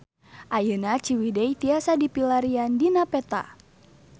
Ayeuna Ciwidey tiasa dipilarian dina peta